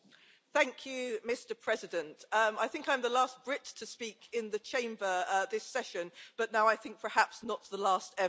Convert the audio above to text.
Mr President, I think I'm the last Brit to speak in the Chamber at this session, but now I think perhaps not the last ever, happily.